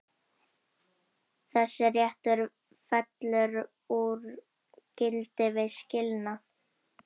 Þessi réttur fellur úr gildi við skilnað.